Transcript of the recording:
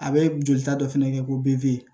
A bɛ jolita dɔ fana kɛ ko be